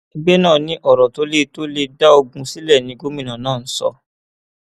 ẹgbẹ náà ni ọrọ tó lè tó lè dá ogún sílẹ ni gómìnà náà ń sọ